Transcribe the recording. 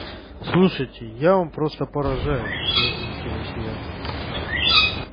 слушайте я вам просто поражаюсь возмутилась я